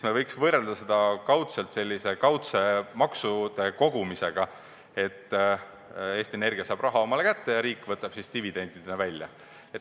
Me võiks seda võrrelda sellise kaudse maksude kogumisega, et Eesti Energia saab raha omale kätte ja riik võtab selle dividendidena välja.